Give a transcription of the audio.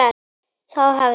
Þá hefði